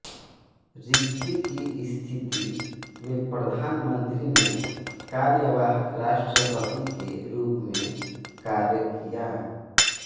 रिक्ति की स्थिति में प्रधानमंत्री ने कार्यवाहक राष्ट्रपति के रूप में कार्य किया